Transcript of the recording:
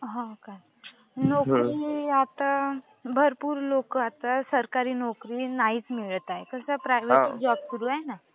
हो का. नोकरी आता भरपूर लोक आता सरकारी नोकरी नाहीच मिळत आहेत, सध्या प्रायव्हेट जॉब सुरू आहे ना.